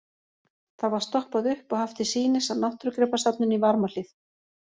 Það var stoppað upp og haft til sýnis á Náttúrugripasafninu í Varmahlíð.